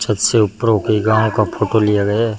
छत से ऊपरों की गांव का फोटो लिया गया।